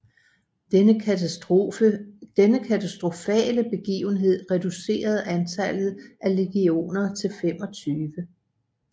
Denne katastrofale begivenhed reducerede antallet af legioner til 25